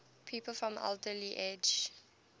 people from alderley edge